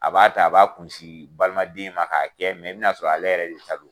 A b'a ta a b'a kun sin balimaden ma k'a kɛ mɛ i bɛna sɔrɔ ale yɛrɛ de ta don.